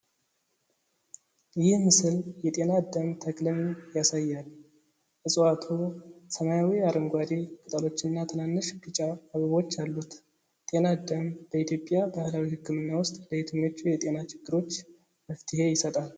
ይህ ምስል የ"ጤና አዳም"ተክልን ያሳያል። እፅዋቱ ሰማያዊ-አረንጓዴ ቅጠሎችና ትናንሽ ቢጫ አበቦች አሉት። ጤና አዳም በኢትዮጵያ ባህላዊ ሕክምና ውስጥ ለየትኞቹ የጤና ችግሮች መፍትሄ ይሰጣል?